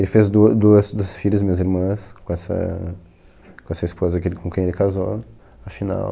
Ele fez duas dua duas filhas, minhas irmãs, com essa com essa esposa que com quem ele casou, a final.